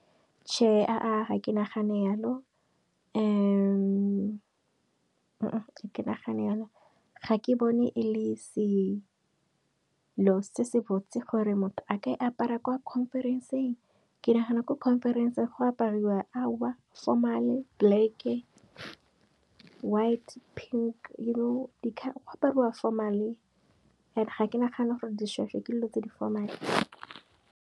Tjhe ga ke nagane yalo ke nagane jalo, ga ke bone e le selo se se botse gore motho a ka e apara kwa khonferenseng. Ke nagana gore ko khonferenseng go apariwa formal-e black, white, pink you know go apariwa formal-e and ga ke nagana gore dišhwešhwe ke dilo tse di formal-a.